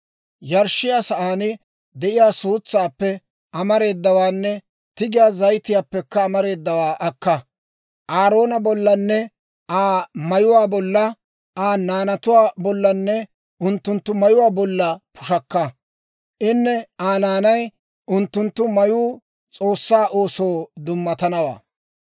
Yarshshiyaa sa'aan de'iyaa suutsaappe amareedawaanne tigiyaa zayitiyaappekka amareedawaa akka, Aaroona bollanne Aa mayuwaa bolla, Aa naanatuwaa bollanne unttunttu mayuwaa bolla pushakka. Inne Aa naanay, unttunttu mayuu S'oossaa oosoo dummatanawaa.